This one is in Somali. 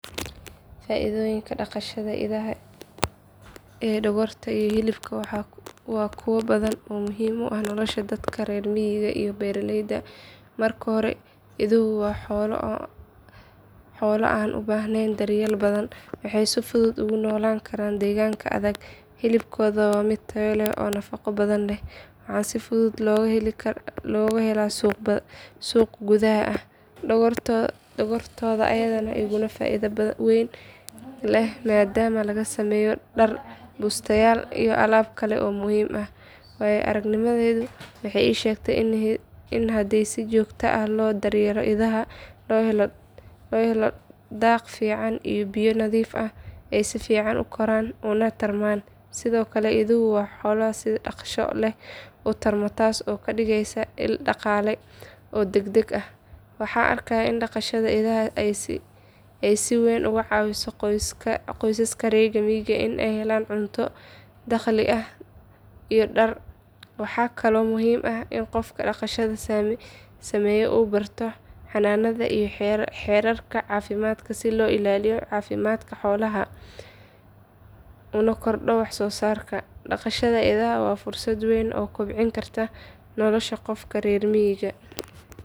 Faa’iidooyinka dhaqashada idaha ee dhogorta iyo hilibka waa kuwo badan oo muhiim u ah nolosha dadka reer miyiga iyo beeraleyda. Marka hore, iduhu waa xoolo aan u baahnayn daryeel badan, waxayna si fudud ugu noolaan karaan deegaanka adag. Hilibkooda waa mid tayo leh oo nafaqo badan leh, waxaana si fudud looga helo suuq gudaha ah. Dhogortooda ayaa iyaduna faa’iido weyn leh maadaama laga sameeyo dhar, bustayaal iyo alaab kale oo muhiim ah. Waayo-aragnimadaydu waxay ii sheegtay in haddii si joogto ah loo daryeelo idaha, loo helo daaq fiican iyo biyo nadiif ah, ay si fiican u koraan una tarmaan. Sidoo kale, iduhu waa xoolo si dhakhso leh u tarma, taas oo ka dhigaysa il dhaqaale oo degdeg ah. Waxaan arkay in dhaqashada idaha ay si weyn uga caawiso qoysaska reer miyiga in ay helaan cunto, dakhli iyo dhar. Waxaa kaloo muhiim ah in qofka dhaqashada sameeya uu barto xanaanada iyo xeerarka caafimaadka si loo ilaaliyo caafimaadka xoolaha una kordho wax soo saarka. Dhqashada idaha waa fursad weyn oo kobcin karta nolosha qofka reer miyiga.